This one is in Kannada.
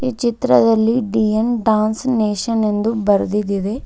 ಈ ಚಿತ್ರದಲ್ಲಿ ಡಿ_ಎನ್ ಡಾನ್ಸ್ ನೇಶನ್ ಎಂದು ಬರೆದಿದ್ದಿದೆ.